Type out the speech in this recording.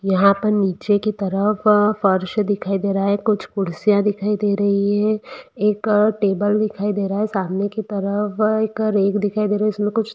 यहां पर एक नीचे की तरफ फ्रेश दिखायी दे रहा है कुछ कुर्सी दिखायी दे रही है एक टेबल दिखायी दे रहा हैसामने की तरफ एक रैक दिखाई दे रही है जिसमे कुछ--